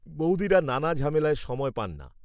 বৌদিরা নানা ঝামেলায় সময় পায় না।